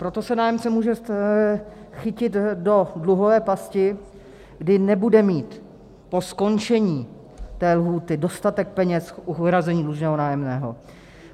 Proto se nájemce může chytit do dluhové pasti, kdy nebude mít po skončení té lhůty dostatek peněz k uhrazení dlužného nájemného.